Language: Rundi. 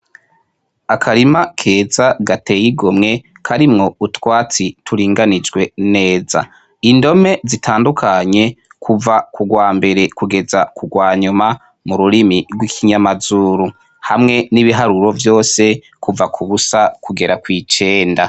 Akarima keza gateye igomwe karimwo utwatsi turinganijwe neza, Indome zitandukanye kuva ku rwambere kugeza ku rwanyuma mu rurimi rw'ikinyamazuru hamwe n'ibiharuro vyose kuva ku busa kugera kw'icenda.